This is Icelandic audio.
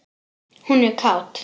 Hún er kát.